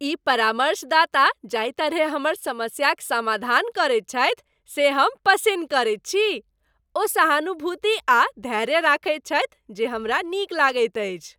ई परामर्शदाता जाहि तरहे हमर समस्याक समाधान करैत छथि से हम पसिन्न करैत छी। ओ सहानुभूति आ धैर्य रखैत छथि जे हमरा नीक लगैत अछि।